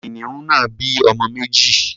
Kìnìún náà bí ọmọ méjì.